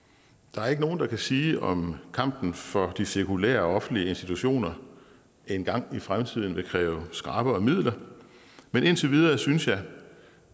der er ikke nogen der kan sige om kampen for de sekulære og offentlige institutioner engang i fremtiden vil kræve skrappere midler men indtil videre synes jeg